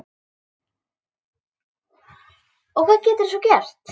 Og hvað geturðu svo gert?